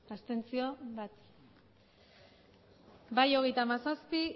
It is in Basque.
abstentzioak bai hogeita hamazazpi